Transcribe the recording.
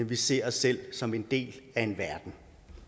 vi ser os selv som en del af verden